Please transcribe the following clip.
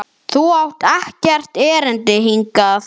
Þú átt ekkert erindi hingað.